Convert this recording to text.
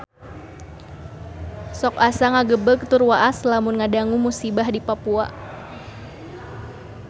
Sok asa ngagebeg tur waas lamun ngadangu musibah di Papua